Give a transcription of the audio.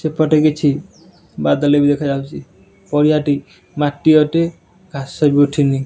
ଏପଟେ କିଛି ବାଦଲ ଭି ଦେଖାଯାଉଛି ପଡିଆଟି ମାଟି ଅଟେ ଘାସ ଭି ଉଠିନି।